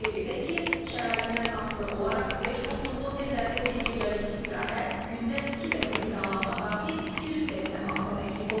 Qeyd edək ki, şəraitindən asılı olaraq beş ulduzlu otellərdə bir gecəlik istirahət, gündə iki dəfə qidalanma daxil 280 manata təklif olunur.